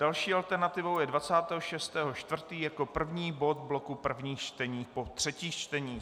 Další alternativou je 26. 4. jako první bod bloku prvních čtení po třetích čteních.